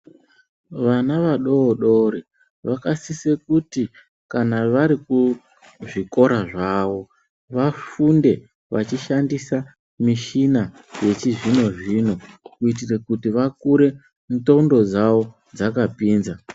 Vana vadodori vakasise kuti kana vari kuzvikora zvavo vafunde vachishandisa michina yechizvino-zvino kuitira kuti vakure ndxondo dzavo dzakapinza.